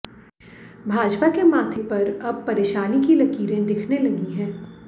भाजपा के माथे पर अब परेशानी की लकीरें दिखने लगी हैं